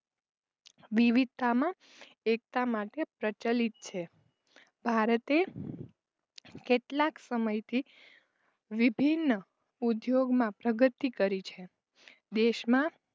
વિવિધતામાં એકતા માટે પ્રચલિત છે. ભારતે કેટલાક સમય થી વિભિન્ન ઉદ્યોગમાં પ્રગતિ કરી છે. દેશમાં